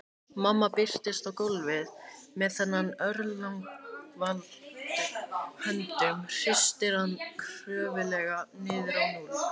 Mamma birtist á gólfinu með þennan örlagavald í höndunum, hristir hann kröftuglega niður á núll.